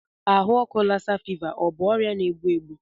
Ahụ ọkụ Lassa ọ bụ ọrịa na-egbu egbu?